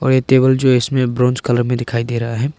ये टेबल जो इसमें ब्रॉन्ज कलर में दिखाई दे रहा है।